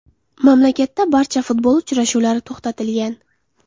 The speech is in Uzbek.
Mamlakatda barcha futbol uchrashuvlari to‘xtatilgan .